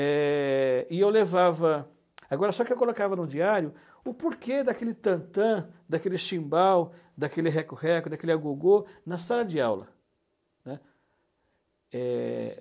É, e eu levava, agora só que eu colocava no diário, o porquê daquele tantã, daquele chimbal, daquele recorreco, daquele agogô na sala de aula, né. É...